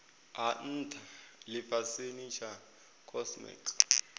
ha ntha lifhasini tsha cosmic